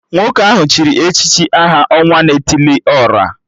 Nwoke ahụ chịrị echichi aha 'Ọnwa na etili ora'